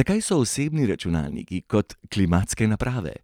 'Zakaj so osebni računalniki kot klimatske naprave?